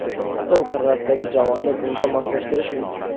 Stol qirrasidagi javonni bunga moslashtirish mumkin.